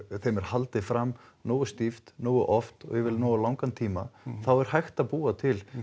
þeim er haldið fram nógu stíft nógu oft og yfir nógu langan tíma þá er hægt að búa til